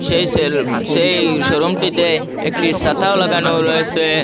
সেই-সেলব সেই শোরুমটিতে একটি ছাতাও লাগানো রয়েছে।